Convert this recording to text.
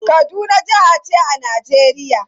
Kaduna jaha ce a Najeriya.